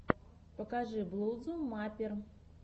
покажи блузу маппер